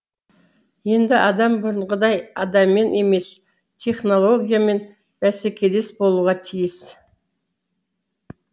енді адам бұрынғыдай адаммен емес технологиямен бәсекелес болуға тиіс